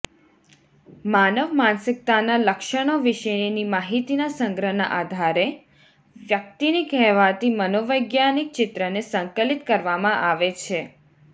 માનવ માનસિકતાના લક્ષણો વિશેની માહિતીના સંગ્રહના આધારે વ્યક્તિની કહેવાતી મનોવૈજ્ઞાનિક ચિત્રને સંકલિત કરવામાં આવે છે